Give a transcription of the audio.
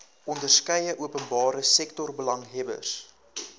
onderskeie openbare sektorbelanghebbers